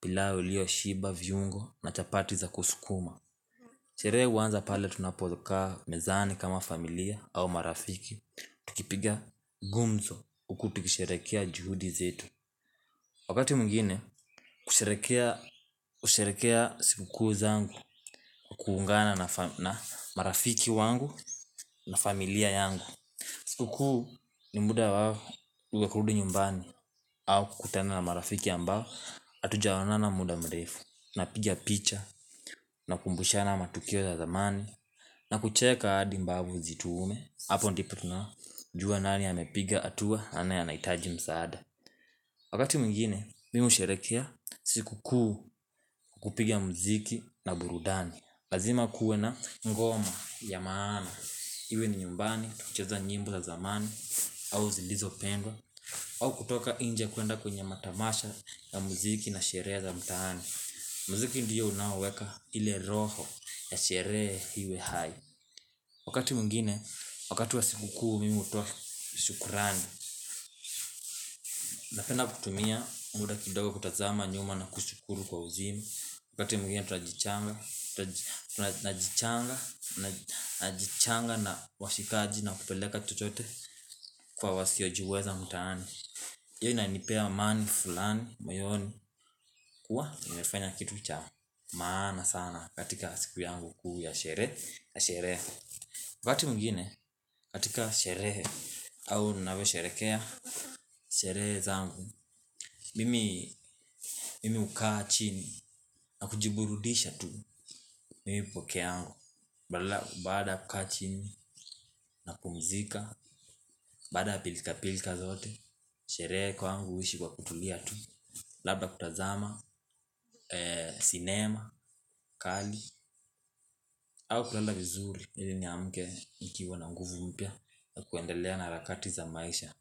pilau iliyo shiba, viungo na chapati za kusukuma Sherehe huanza pale tunapo kaa mezani kama familia au marafiki Tukipiga gumzo huku tukisherehekea juhudi zetu Wakati mwingine kusherehekea siku kuu zangu kwa kuungana na marafiki wangu na familia yangu siku kuu zangu ni muda wao wa kurudi nyumbani au kukutana na marafiki ambao hatuja onana muda mrefu tunapiga picha tunakumbushana matukio ya zamani na kucheka hadi mbavu zituume hapo ndipo tunajua nani amepiga hatua nani a nahitaji msaada Wakati mwingine, mimi husherehekea siku kuu kupiga muziki na burudani lazima kuwe na ngoma ya maana Iwe ni nyumbani, tukicheza nyimbo za zamani au zilizopendwa au kutoka nje kwenda kwenye matamasha ya muziki na sherehe za mtaani. Muziki ndiyo unaoweka ile roho ya sherehe iwe hai. Wakati mwingine, wakati wa sikukuu mimi hutoa shukrani. Napenda kutumia muda kidogo kutazama nyuma na kushukuru kwa uzima. Wakati mwingine najichanga na washikaji na kupeleka chochote kwa wasiojiweza mtaani. Hiyo inanipea amani, fulani, moyoni, kuwa, nimefanya kitu cha maana sana katika siku yangu kuu, ya sherehe wakati mwingine, katika sherehe, au ninavyo sherekea, sherehe zangu Mimi, mimi ukaachini, nakujiburudisha tu, mimi peke yangu Baada ya kukaa chini, napumzika, baada ya pilika pilika zote Sherehe kwangu, uisha kwa kutulia tu labda kutazama, sinema, kali au kulala vizuri ili ni amke nikiwa na nguvu mpya na kuendelea na harakati za maisha.